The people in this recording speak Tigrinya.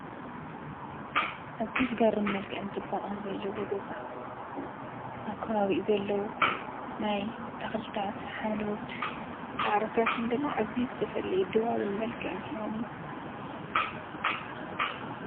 አዝዩ ዝገርም መልክዕን ፅባቐን ዘለዎ ገዛ አብ ከባቢኡ ዘለዉ ናይ ተኽሊታት ሓምለዎት ሳዕሪታትን ድማ አዝዩ ዝተፈለየ ድባብን መልክዕን ሂቦሞ ።